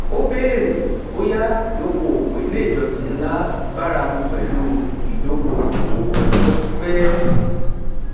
ó béèrè bóyá ìdóko òwò ilé ìjọsìn ńlá báramú pẹlú ìdóko òwò ọlọjọ pípẹ